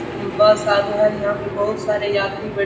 बस आउरु है यहाँ पे बहुत सारे यात्री बै --